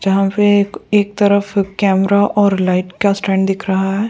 जहां पे एक एक तरफ कैमरा और लाइट का स्टैंड दिख रहा है।